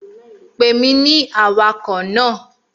Pè mí ní awakọ̀ náà!